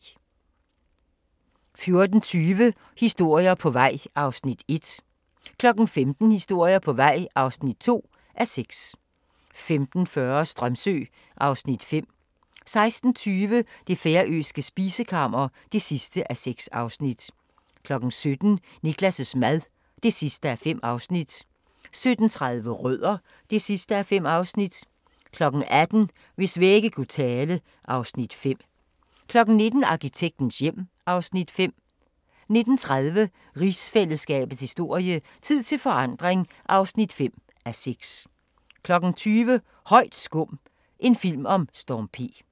14:20: Historier på vej (1:6) 15:00: Historier på vej (2:6) 15:40: Strömsö (Afs. 5) 16:20: Det færøske spisekammer (6:6) 17:00: Niklas' mad (5:5) 17:30: Rødder (5:5) 18:00: Hvis vægge kunne tale (Afs. 5) 19:00: Arkitektens hjem (Afs. 5) 19:30: Rigsfællesskabets historie: Tid til forandring (5:6) 20:00: Højt skum – en film om Storm P